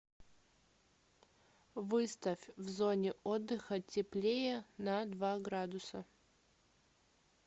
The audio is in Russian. выставь в зоне отдыха теплее на два градуса